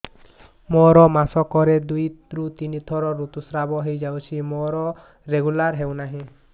ମୋର ମାସ କ ରେ ଦୁଇ ରୁ ତିନି ଥର ଋତୁଶ୍ରାବ ହେଇଯାଉଛି ମୋର ରେଗୁଲାର ହେଉନାହିଁ